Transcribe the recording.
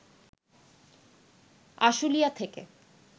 আশুলিয়া থেকে